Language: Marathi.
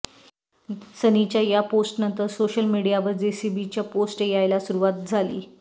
सनीच्या या पोस्टनंतर सोशल मीडियावर जेसीबीच्या पोस्ट यायला सुरुवात झाली